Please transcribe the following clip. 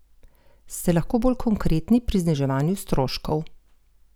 Ste lahko bolj konkretni pri zniževanju stroškov?